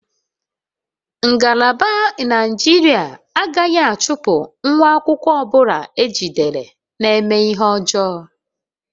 Ngalaba injinia agaghị achụpụ nwa akwụkwọ ọ bụla ejidere na-eme ihe ọjọọ